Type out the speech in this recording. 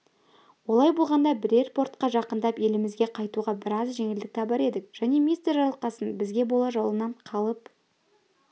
олай болғанда бірер портқа жақындап елімізге қайтуға біраз жеңілдік табар едік және мистер жарылқасын бізге бола жолынан қалып